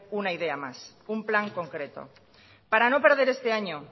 una idea más un plan concreto para no perder este año